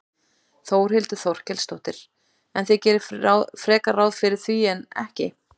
Þórhildur Þorkelsdóttir: En þið gerið frekar ráð fyrir því en ekki?